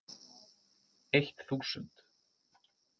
Eitt þúsund